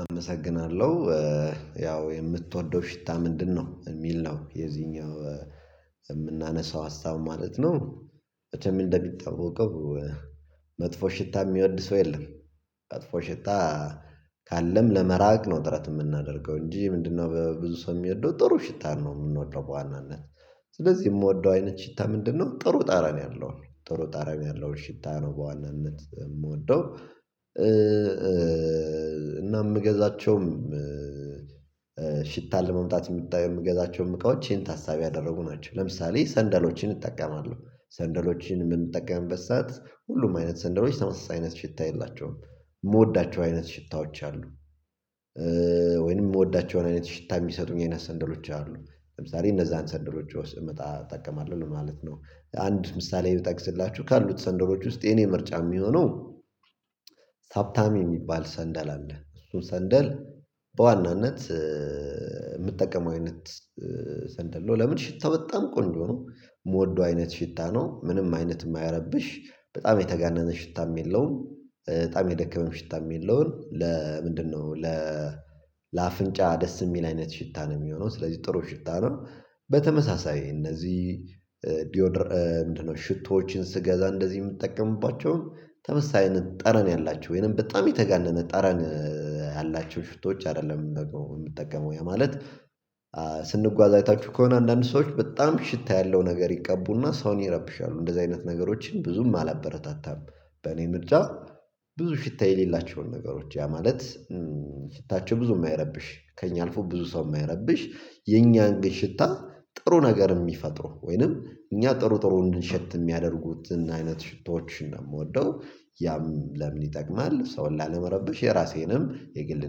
አመሰግናለሁ። ያው የምትወደው ሽታ ምንድነው? የሚል ነው የዚህኛው እምናነሳው ሀሳቡ ማለት ነው። መቼም እንደሚታወቀው መጥፎ ሽታ እሚወድ ሰው የለም። መጥፎ ሽታ ካለም ለመራቅ ነው ጥረት የምናደርገው እንጂ ምንድነው በብዙ ሰው የሚወደው ጥሩ ሽታ ነው የምንወደው በዋናነት። ስለዚህ እምወደው አይነት ሽታ ምንድነው? ጥሩ ጠረን ያለው ነው ጥሩ ጠረን ያለው ሽታ ነው በዋነነት የምወደው። እና የምገዛቸውም ሽታ ለመምጣት የምታየው የምገዛቸውም እቃዎች ይሄን ታሳቢ ያደረጉ ናቸው። ለምሳሌ ሰንደሎችን እጠቀማለሁ ሰንደሎችን የምንጠቀምበት ሰዓት ሁሉም አይነት ሰንደሎች ተመሳሳይ አይነት ሽታ የላቸውም የምወዳቸው አይነት ሽታዎች አሉ። ወይንም ምወዳቸውን አይነት ሽታ የሚሰጡኝ አይነት ሰንሎች አሉ ለምሳሌ እነዛን ሰንደሎች ውስድ መጣ እጠቀማለሁ ማለት ነው። አንድ ምሳሌ ብጠቅስላችሁ ካሉት ሰንደሎች ውስጥ የኔ ምርጫ የሚሆነው ሳብታሚ እሚባል ሰንደል አለ። እሱ ሰንደል በዋናነት እምጠቀመው አይነት ሰንደል ነው። ለምን ሽታው በጣም ቆንጆ ነው። ምወደው አይነት ሽታ ነው ምንም አይነት የማያረብሽ በጣም የተጋነነ ሽታም የለውም በጣም የደከመም ሽታም የለውም። ለምንድነው ለ ለአፍንጫ ደስ የሚል አይነት ሽታ ነው። የሚሆነው ስለዚህ ጥሩ ሽታ ነው። በተመሳሳይ እነዚህ ዲዮድር ምንድን ነው? ሽቶዎችን ስገዛ እንደዚህ ምጠቀምባቸውን ተመሳሳይ ጠረን ያላቸው ወይንም በጣም የተጋነነ ጠረን ያላቸው ሽቶዎች አይደለም የምጠቀመው ያ ማለት ስንጓዝ አይታችሁ ከሆነ አንዳንድ ሰዎች በጣም ሽታ ያለው ነገር ይቀቡና ሰውን ይረብሻሉ እንደዚህ አይነት ነገሮችን ብዙም አላበረታታም። በእኔ ምርጫ ብዙ ሽታ የሌላቸውን ነገሮች ያ ማለት ሽታቸው ብዙም አይረብሽ ከእኛ አልፎ ብዙ ሰው ማይረብሽ የኛን ግን ሽታ ጥሩ ነገር የሚፈጥሩ ወይንም እኛ ጥሩ ጥሩ እንድንሸት የሚያደርጉትን አይነት ሽቶዎችን ነው የምወደው። ያም ለምን ይጠቅማል ሰውን ላለመረብሽ የራሴንም የግል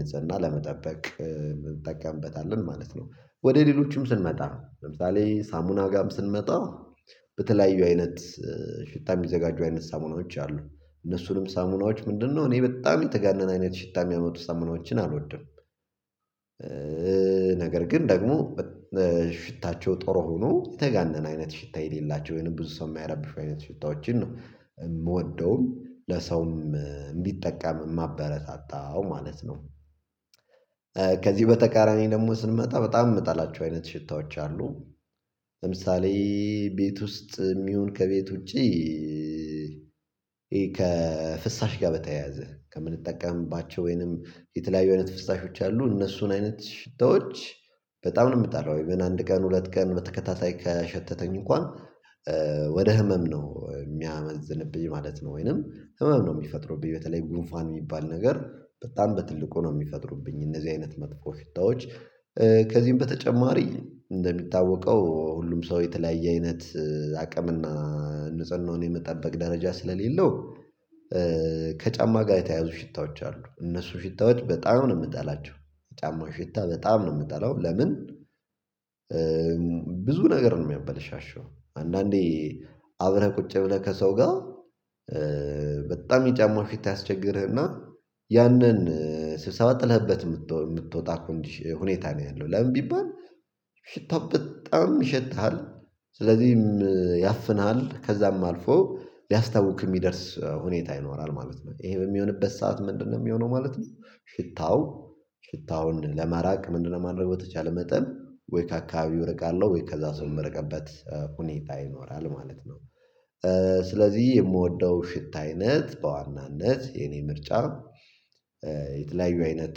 ንፁህና ለመጠበቅ። እንጠቀምበታለን ማለት ነው። ወደ ሌሎችም ስንመጣ ለምሳሌ ሳሙና ጋም ስንመጣ በተለያዩ አይነት ሽታ የሚዘጋጁ አይነት ሳሙናዎች አሉ እነሱንም ሳሙናዎች ምንድነው እኔ በጣም የተጋነነ አይነት ሽታ የሚያመጡ ሳሙናዎችን አልወድም። ነገር ግን ደግሞ ሽታቸው ጥሩ ሆኖ የተጋነነ አይነት ሽታ የሌላቸው ወይንም ብዙ ሰው የሚያረብሹ አይነት ሽታዎችን ነው። የምወደውን ለሰውም እንዲጠቀም ማበረታታው ማለት ነው። በተቃራኒ ደግሞ ስንመጣ በጣም ምጠላቸው አይነት ሽታዎች አሉ። ለምሳሌ ቤት ውስጥም ይሁን ከቤት ውጪ ከፍሳሽ ጋር በተያያዘ ከምንጠቀምባቸው ወይንም የተለያዩ አይነት ፍስሳሾች አሉ እነሱን አይነት ሽታዎች በጣም ነው የምጣለው ኢቭን አንድ ቀን ሁለት ቀን በተከታታይ ከሸተተኝ እንኳን ወደ ህመም ነው የሚያመዝንብኝ ማለት ነው። ወይንም ህመም ነው የሚፈጥሩብኝ በተለይ ጉንፋን የሚባል ነገር በጣም በትልቁ ነው የሚፈጥሩብኝ እነዚህ አይነት መጥፎ ሽታዎች። ከዚህም በተጨማሪ እንደሚታወቀው ሁሉም ሰው የተለያየ አይነት አቅምና ንጽህናውን የመጠበቅ ደረጃ ስለሌለው ከጫማ ጋ የተያያዙ ሽታዎች አሉ እነሱ ሽታዎች በጣም ነው ምጠላቸው። ጫማው ሽታ በጣም ነው ምጠላው። ለምን? ብዙ ነገር ነው የሚያበለሻሸው አንዳንዴ አብረህ ቁጭ ብለህ ከሰው ጋ በጣም የጫማው ሽታ ያስቸግርህና ያንን ስብሰባ ጥለህበት የምትወጣ ኮንዲሽ ሁኔታ ነው። ያለው ለምን ቢባል ሽታው በጣም ይሸትሀል። ስለዚህ ያፍንሃል ከዛም አልፎ ሊያስታውክ እሚደርስ ሁኔታ ይኖራል ማለት ነው። ይሄ በሚሆንበት ሰዓት ምንድነው የሚሆነው ማለት ነው። ሽታው ሽታውን ለማራቅ ምንድነው? ማድረግ በተቻለ መጠን ወይ ከአካባቢው እርቃለሁ ወይ ከዛ ሰው የምርቀበት ሁኔታ ይኖራል ማለት ነው። ስለዚህ የምወደው ሽታ አይነት በዋናነት የኔ ምርጫ የተለያዩ አይነት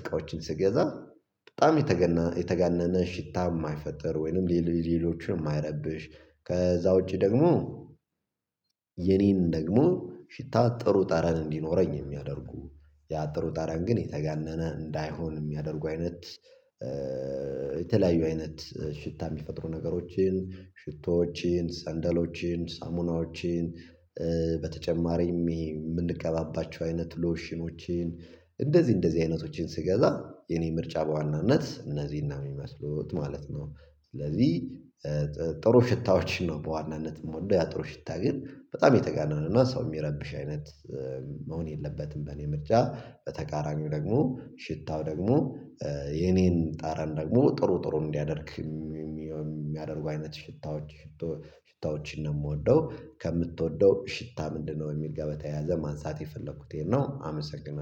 እቃዎችን ስገዛ በጣም የተገነ የተጋነነ ሽታ ማይፈጥር ወይንም ሌል ሌሎችንም ማይረብሽ። ከዛ ውጪ ደግሞ የኔን ደግሞ ሽታ ጥሩ ጠረን እንዲኖረኝ የሚያደርጉ ያ ጥሩ ጠረን ግን የተጋነነ እንዳይሆን የሚያደርጉ አይነት የተለያዩ አይነት ሽታ የሚፈጥሩ ነገሮችን ሽቶዎችን ሰንደሎችን ሳሙናዎችን በተጨማሪም የምንቀባባቸው አይነት ሎሽኖችን እንደዚህ እንደዚህ አይነቶችን ስገዛ የኔ ምርጫ በዋናነት እነዚህን ነው የሚመስሉት ማለት ነው። ስለዚህ ጥሩ ሽታዎችን ነው በዋናነት የምወደው ያጥሩ ሽታ ግን በጣም የተጋነነና ሰው የሚረብሽ አይነት መሆን የለበትም። በእኔ ምርጫ በተቃራኒው ደግሞ ሽታው ደግሞ የኔን ጠረን ደግሞ ጥሩ ጥሩ እንዲያደርግ የሚያደርጉ አይነት ሽታዎች ሽቶ ሽታዎችን ነው የምወደው። ከምትወደው ሽታ ምንድነው? የሚል ጋር በተያያዘ ማንሳት የፈለኩት ይሄን ነው። አመሰግናለሁ